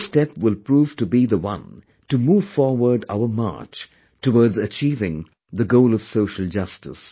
This step will prove to be the one to move forward our march towards achieving the goal of social justice